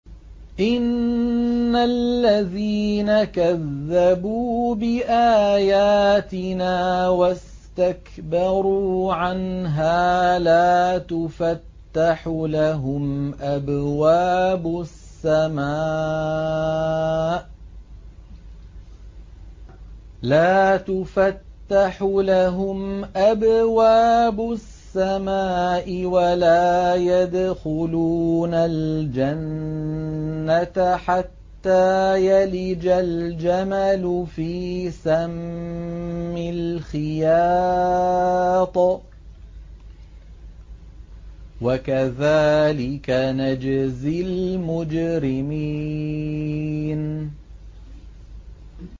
إِنَّ الَّذِينَ كَذَّبُوا بِآيَاتِنَا وَاسْتَكْبَرُوا عَنْهَا لَا تُفَتَّحُ لَهُمْ أَبْوَابُ السَّمَاءِ وَلَا يَدْخُلُونَ الْجَنَّةَ حَتَّىٰ يَلِجَ الْجَمَلُ فِي سَمِّ الْخِيَاطِ ۚ وَكَذَٰلِكَ نَجْزِي الْمُجْرِمِينَ